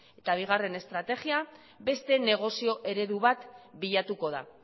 eta bigarren estrategia beste negozio eredu da bilatuko da